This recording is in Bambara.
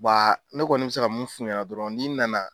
Wa ne kɔni bɛ se ka mun f'u ɲɛna dɔrɔn n'i nana